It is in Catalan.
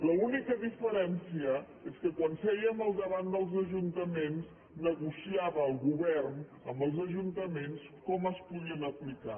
l’única diferència és que quan sèiem al davant dels ajuntaments negociava el govern amb els ajuntaments com es podien aplicar